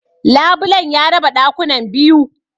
Labulen ya raba ɗakunan biyu.